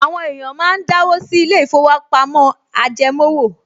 Àwọn èèyàn máa ń dáwó sí ilé-ìfowópamọ́ ajẹmówò